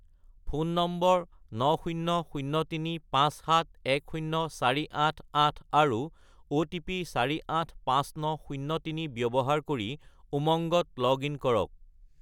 Phone নম্বৰ 90035710488 আৰু OTP 485903 ব্যৱহাৰ কৰি উমংগত লগ-ইন কৰক।